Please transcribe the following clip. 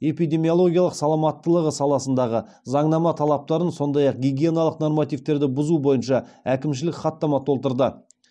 эпидемиологиялық саламаттылығы саласындағы заңнама талаптарын сондай ақ гигиеналық нормативтерді бұзу бойынша әкімшілік хаттама толтырды